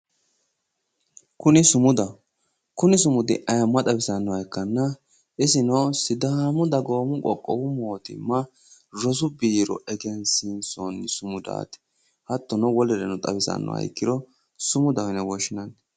Kuni sumudaho kuni sumudi ayyimma xawisannoha ikkanna isino sidaamu dagoomu qoqqowi mootimma rosu biiro egensiisonni sumudaati hattono wolereno xawisannoha ikkiro sumudaho yine woshshinanni.